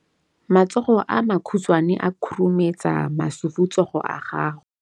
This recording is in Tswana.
Matsogo a makhutshwane a khurumetsa masufutsogo a gago.